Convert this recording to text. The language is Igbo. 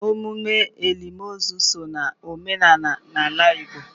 emume olili ozu so na omenala n'ala Igbo.